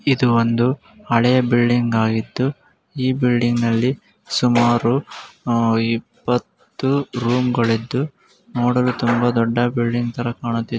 ಇದು ಒಂದು ಹಳೇ ಬಿಲ್ಡಿಂಗ್ ಆಗಿದ್ದು ಈ ಬಿಲ್ಡಿಂಗ್ ಅಲ್ಲಿ ಸುಮಾರು ಇಪ್ಪತ್ತು ರೂಂಗಳಿದ್ದು ನೋಡಲು ತುಂಬಾ ದೊಡ್ಡ ಬಿಲ್ಡಿಂಗ್ ತರ ಕಾಣುತ್ತಿದೆ --